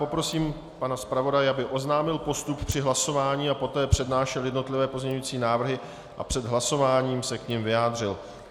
Poprosím pana zpravodaje, aby oznámil postup při hlasování a poté přednášel jednotlivé pozměňovací návrhy a před hlasováním se k nim vyjádřil.